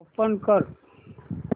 open कर